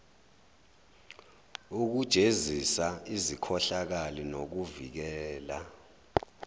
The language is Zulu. ukujezisa izikhohlakali nokuvikela